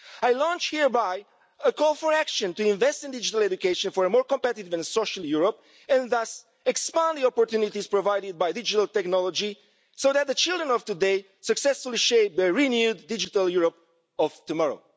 I launch hereby, a call for action to invest in digital education for a more competitive and social Europe and thus expanding opportunities provided by digital technology so that the children of today successfully shape the renewed digital Europe of tomorrow.